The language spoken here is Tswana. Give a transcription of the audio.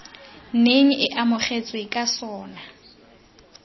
neng e amogetswe ka sona